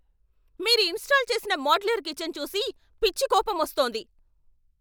మీరు ఇన్స్టాల్ చేసిన modular kitchen చూసి పిచ్చి కోపం వస్తోంది.